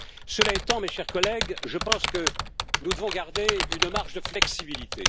Cela étant, mes chers collègues, je pense que nous devons garder une marge de flexibilité.